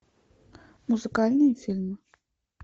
музыкальные фильмы